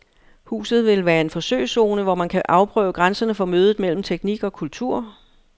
Huset vil være en forsøgszone, hvor man kan afprøve grænserne for mødet mellem teknik og kultur.